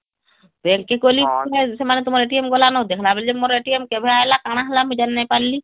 Bank କି ଗଲି ସେମାନେ ତୁମର ଗଲା ନ ଦେଖିଲା ବେଲକୁ କେଭେ ଆଇଲା କାନା ହେଲା ମୁଁ ଜାଣି ନାଇଁ ପାରିଲି